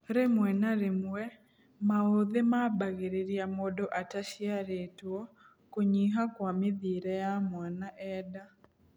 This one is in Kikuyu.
Rĩmwe na rĩmwe, maũthĩ mambagĩrĩria mũndũ ataciarĩtwo kũnyih kwa mĩthiĩre ya mwana enda.